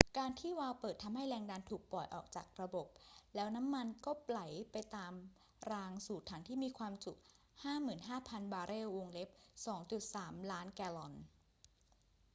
การที่วาล์วเปิดทำให้แรงดันถูกปล่อยออกจากระบบ แล้วน้ำมันก็ไหลไปตามรางสู่ถังที่มีความจุ 55,000 บาร์เรล 2.3 ล้านแกลลอน